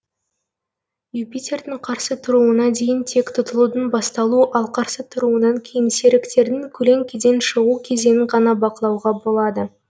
юпитердің қарсы тұруына дейін тек тұтылудың басталу ал қарсы тұруынан кейін серіктердің көлеңкеден шығу кезеңін ғана бақылауға болады